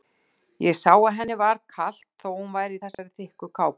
Ég sá að henni var kalt þó að hún væri í þessari þykku kápu.